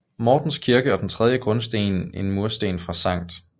Mortens Kirke og den tredje grundsten en mursten fra Skt